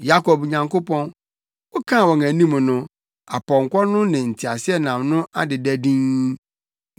Yakob Nyankopɔn, wokaa wɔn anim no apɔnkɔ no ne nteaseɛnam no adeda dinn.